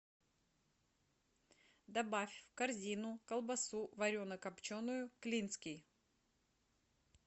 добавь в корзину колбасу варено копченую клинский